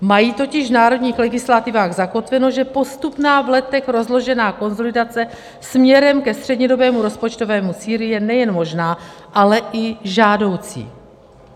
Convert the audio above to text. Mají totiž v národních legislativách zakotveno, že postupná, v letech rozložená konsolidace směrem ke střednědobému rozpočtovému cíli je nejen možná, ale i žádoucí.